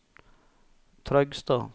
Trøgstad